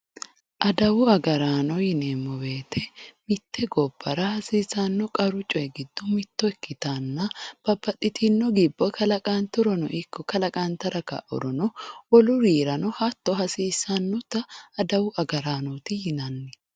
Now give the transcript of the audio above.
Adawu agaraano yineemmo woyiite mitte gobbara hasiisanno qaru coyi giddo mitto ikkitanna babbaxitinno gibbo kalaqanturono ikko kalaqantara kaurono wolurirano hatto hasiissannota adawu agaraanooti yinanni.